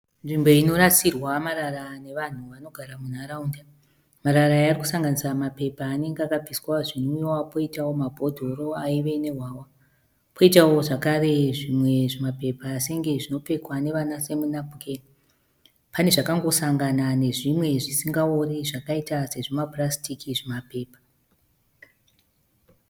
Nzvimbo inorasirwa marara nevanhu vanogara munharaunda. Marara aya arikusanganisira mapepa anenge akabviswa zvinwiwa poitawo mabhodhoro aive nehwahwa. Poitawo zvakare zvimwe zvima pepa senge zvinopfekwa nevana semu napukeni. Pane zvakangosangana nezvimwe zvisingaori zvakaita sezvima purasitiki zvima pepa.